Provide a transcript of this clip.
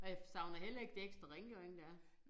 Og jeg savner heller ikke det ekstra rengøring der er